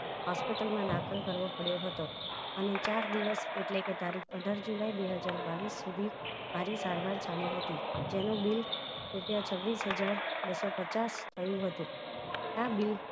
Hospital માં દાખલ કરવો પડયો હતો અને ચાર દિવસ એટલે કે તારીખ અઢાર જુલાઈ બેહજાર બાવીસ સુધી મારી સારવાર ચાલી હતી જેનું બીલ રૂપિયા છવીસ હજાર બસો પચાસ થયું હતું આ બીલ